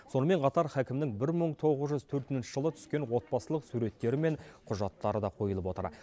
сонымен қатар хакімнің бір мың тоғыз жүз төртінші жылы түскен отбасылық суреттері мен құжаттары да қойылып отыр